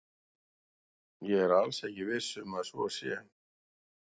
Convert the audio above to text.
Ég er alls ekki viss um að svo sé.